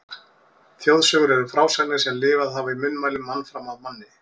Þjóðsögur eru frásagnir sem lifað hafa í munnmælum mann fram af manni.